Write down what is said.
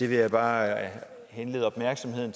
vil bare henlede opmærksomheden